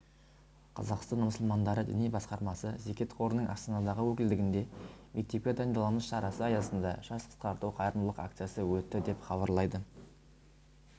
қазақстан мұсылмандары діни басқармасы зекет қорының астанадағы өкілдігінде мектепке дайындаламыз шарасы аясында шаш қысқарту қайырымдылық акциясы өтті деп хабарлайды